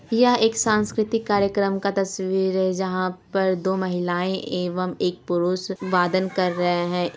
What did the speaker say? यह एक सांस्कृतिक कार्यक्रम का तस्वीर है जहां पर दो महिलाये एवं एक पुरुष वादन कर रहे हैं।